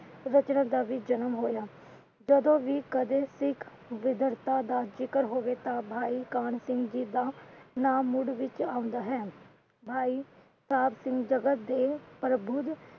ਰਚਨਾ ਦਾ ਵੀ ਜਨਮ ਹੋਇਆ। ਜਦੋ ਵੀ ਕਦੇ ਸਿੱਖ ਵਿਧਰਤਾ ਦਾ ਜਿਕਰ ਹੋਵੇ ਤਾਂ, ਭਾਈ ਕਾਹਨ ਸਿੰਘ ਜੀ ਦਾ ਨਾਮ ਮੁੜ ਵਿੱਚ ਆਉਂਦਾ ਹੈ। ਭਾਈ ਸਾਹਿਬ ਜਗਤ ਦੇ ਪ੍ਰਬੁੱਧ